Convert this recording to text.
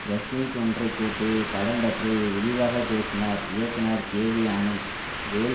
press meet ஒன்றை கூட்டி படம் பற்றி விரிவாக பேசினார் இயக்குனர் கேவிஆனந்த் வேல்